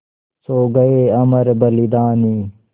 सो गये अमर बलिदानी